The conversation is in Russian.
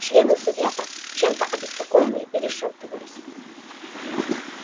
члены совета чем-то обеспокоенные перешёптывались